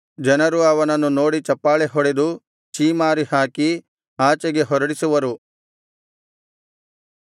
ಜನರು ಅವನನ್ನು ನೋಡಿ ಚಪ್ಪಾಳೆಹೊಡೆದು ಛೀಮಾರಿ ಹಾಕಿ ಆಚೆಗೆ ಹೊರಡಿಸುವರು